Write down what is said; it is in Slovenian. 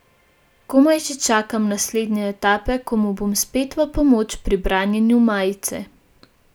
Komaj že čakam naslednje etape, ko mu bom spet v pomoč pri branjenju majice.